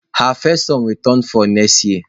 Her first son will turn four next year